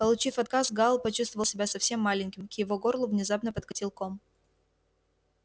получив отказ гал почувствовал себя совсем маленьким к его горлу внезапно подкатил ком